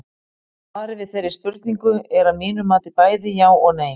Svarið við þeirri spurningu er að mínu mati bæði já og nei.